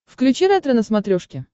включи ретро на смотрешке